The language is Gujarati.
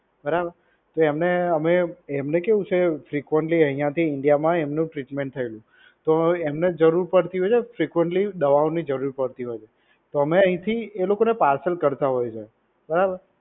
બરાબર, જો અમે એમને કેવુ છે, કે frequently આયાં થી India મા એમનું treatment થયેલુ, તો એમને જરૂર પડતી હોય છે frequently દવાઓની જરુર પડતી હોય છે, તો અમે આયાં થી એ લોકો ને foreign કરતા હોય છે બરાબર?